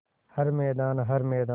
हर मैदान हर मैदान